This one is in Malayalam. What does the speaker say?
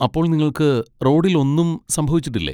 അപ്പോൾ നിങ്ങൾക്ക് റോഡിൽ ഒന്നും സംഭവിച്ചിട്ടില്ലേ?